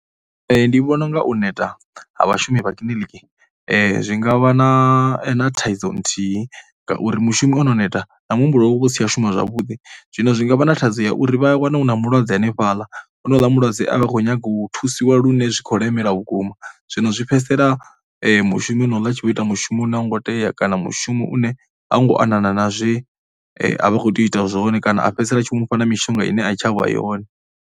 Ndi vhona u nga u neta ha vhashumi vha kiḽiniki zwi nga vha na thaidzo nthihi ngauri mushumi o no neta na muhumbulo wawe u vha u si tsha shuma zwavhuḓi. Zwino zwi nga vha na thaidzo ya uri vha a wana hu na mulwadze hanefhaḽa, honouḽa mulwadze a vha khou nyaga u thusiwa lune zwi khou lemela vhukuma. Zwino zwi fhedzisela mushumi onouḽa a tshi vho ita mushumo une a u ngo tea kana mushumo une a u ngo anana na zwe a vha khou tea u ita zwone kana a fhedzisela tshi vho mu fha na mishonga ine a i tsha vha yone.